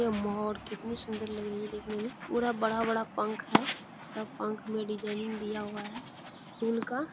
ये मोर कितनी सुंदर लग रही है देखने में पूरा बड़ा-बड़ा पंख है सब पंख में डिजाइनिंग दिया हुआ है फूल का।